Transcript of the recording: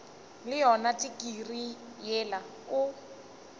le yona tikirii yela o